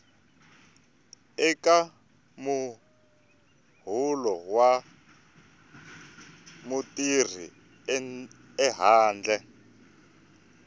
eka muholo wa mutirhi ehandle